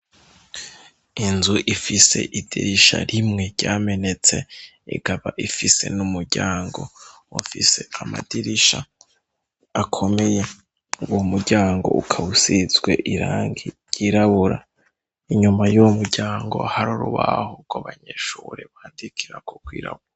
Inzu ifise idirisha rimwe ryamenetse ikaba ifise n'umuryango ufise amadirisha akomeye, uwo muryango ukaba isizwe irangi ryirabura, inyuma yuwo muryango hari urubaho rw'abanyeshure bandikirako rwirabura.